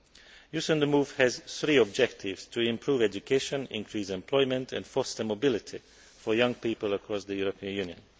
Youth on the move' has three objectives to improve education, increase employment and foster mobility for young people across the European Union.